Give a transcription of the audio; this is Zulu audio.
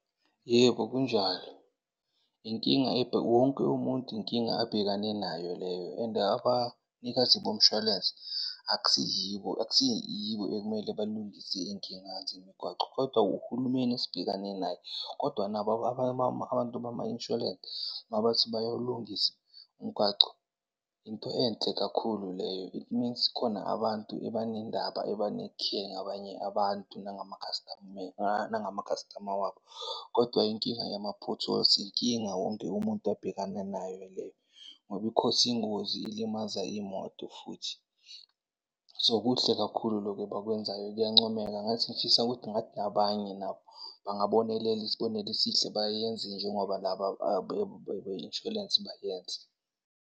Yebo, kunjalo. Inkinga ebheke, wonke umuntu inkinga abhekane nayo leyo and abanikazi bomshwalense akusiyibo akusiyibo ekumele balungise iy'nkinga zemigwaqo kodwa uhulumeni esibhekane naye. Kodwa nabo abantu bama-insurance mabathi bayawulungisa umgwaco, into enhle kakhulu leyo. It means kukhona abantu eba nendaba, eba ne-care ngabanye abantu, nangama-customer nangama-customer wabo. Kodwa inkinga yama-potholes, inkinga wonke umuntu abhekane nayo leyo ngoba i-cause-a iy'ngozi, ilimaza iy'moto futhi. So, kuhle kakhulu lokhu abakwenzayo kuyancomeka. Ngathi ngifisa ukuthi ngathi nabanye nabo bangabonelela isibonelo esihle, bayenze njengoba laba abe insurance bayenze.